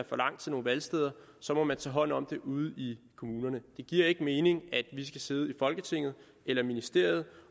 for langt til nogle valgsteder så må man tage hånd om det ude i kommunerne det giver ikke mening at vi skal sidde i folketinget eller i ministeriet